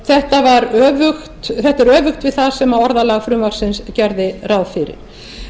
þetta er öfugt við það sem orðalag frumvarpsins gerir ráð fyrir